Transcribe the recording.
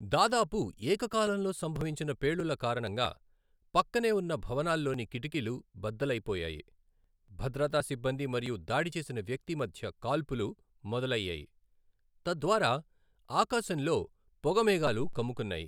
దాదాపు ఏకకాలంలో సంభవించిన పేలుళ్ల కారణంగా పక్కనే ఉన్న భవనాల్లోని కిటికీలు బద్దలైపోయాయి, భద్రతా సిబ్బంది మరియు దాడి చేసిన వ్యక్తి మధ్య కాల్పులు మొదలయ్యాయి, తద్వారా ఆకాశంలో పొగ మేఘాలు కమ్ముకున్నాయి.